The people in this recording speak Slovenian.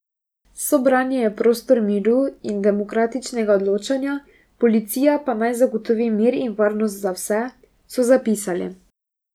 Sobranje je prostor miru in demokratičnega odločanja, policija pa naj zagotovi mir in varnost za vse, so zapisali.